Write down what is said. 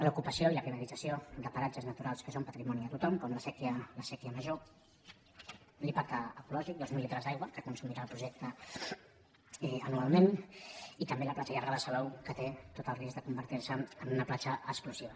l’ocupació i la privatització de paratges naturals que són patrimoni de tothom com la sèquia major l’impacte ecològic dos mil litres d’aigua que consumirà el projecte anualment i també la platja llarga de salou que té tot el risc de convertir se en una platja exclusiva